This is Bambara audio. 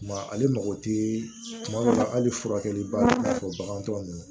Tuma ale mago tɛ tuma dɔw la hali furakɛli b'a la k'a fɔ bagan tɔw